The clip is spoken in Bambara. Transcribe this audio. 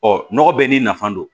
Ɔ nɔgɔ bɛɛ n'i nafa don